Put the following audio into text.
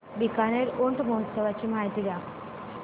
बीकानेर ऊंट महोत्सवाची माहिती द्या